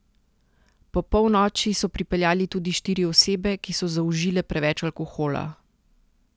Po polnoči so pripeljali tudi štiri osebe, ki so zaužile preveč alkohola.